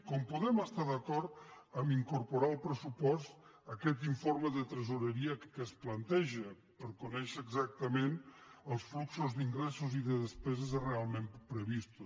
com podem estar d’acord a incorporar al pressupost aquest informe de tresoreria que es planteja per conèixer exactament els fluxos d’ingressos i de despeses realment previstos